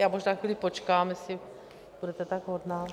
Já možná chvíli počkám, jestli budete tak hodná.